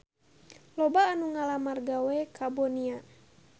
Loba anu ngalamar gawe ka Bonia